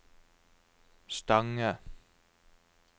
Stange